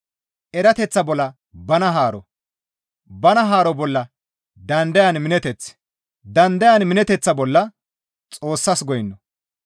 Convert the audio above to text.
erateththa bolla bana haaro, bana haaro bolla dandayan mineteth, dandayan mineteththa bolla Xoossas goyno,